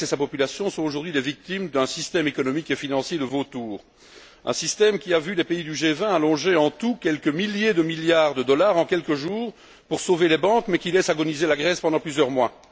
La Grèce et sa population sont aujourd'hui des victimes d'un système économique et financier de vautours, un système qui a vu les pays du G20 allonger en tout quelques milliers de milliards de dollars en quelques jours pour sauver les banques, mais qui laisse agoniser la Grèce pendant plusieurs mois.